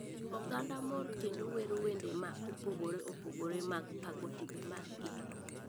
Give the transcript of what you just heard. Oganda mor kendo wero wende ma opogore opogore mag pako timbe mag gi.